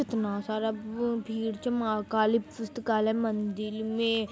इतना सारा भ भीड जमा कालि पुस्तकालय मन्दिर में ।